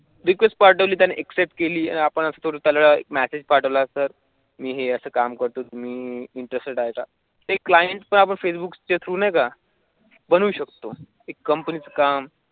Request पाठवली आणि ट्यान्नी अकसेफ्ट केली आपण तुरांथ त्याला एक मेसेज पाठवला तर मी हे असं काम करतो तुम्ही ईनटट्रेस्टड आहे का तर फेसबुकचे ठेवू नका करू शकतो. एक कंपनीचे काम रिक्वेस्ट पाठवा.